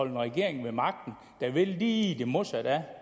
en regering ved magten der vil lige det modsatte af